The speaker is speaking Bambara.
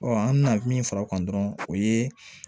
an bɛna min fara o kan dɔrɔn o ye